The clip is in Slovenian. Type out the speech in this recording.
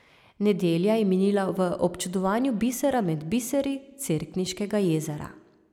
Nedelja je minila v občudovanju bisera med biseri, Cerkniškega jezera.